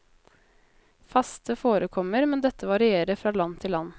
Faste forekommer, men dette varierer fra land til land.